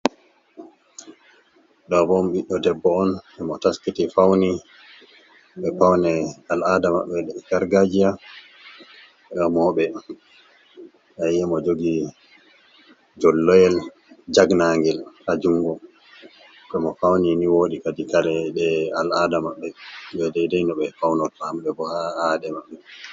Ɗoo bo biɗdo debbo on, mo taskiti fauni be paune al'ada mɓɓe gargajiya. Remooɓe aye mo jogi jolloyel jagnangel ha jungo. Bamo fauni ni woodi kareji de al'aada maɓɓe daidai no ɓe faunoto ha aade maɓɓe.